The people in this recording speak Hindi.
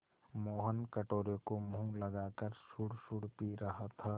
मोहन कटोरे को मुँह लगाकर सुड़सुड़ पी रहा था